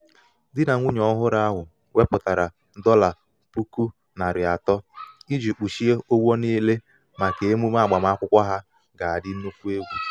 di na nwunye ọhụrụ ahu weputara um dollar puku nari ato iji kpuchie ụgwọ niile maka um emume agbamakwụkwọ ha um ga adi nnukwu egwu